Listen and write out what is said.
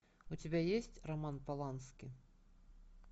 у тебя есть роман полански